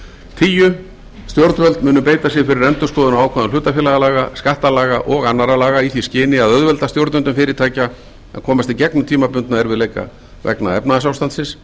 tíu stjórnvöld munu beita sér fyrir endurskoðun á ákvæðum hlutafélagalaga skattalaga og annarra laga í því skyni að auðvelda stjórnendum fyrirtækja að komast í gegnum tímabundna erfiðleika vegna efnahagsástandsins